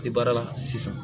Ti baara la sisan